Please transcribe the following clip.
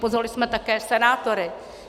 Pozvali jsme také senátory.